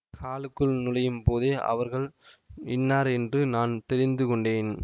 ஹாலுக்குள் நுழையும் போதே அவர்கள் இன்னார் என்று நான் தெரிந்து கொண்டேன்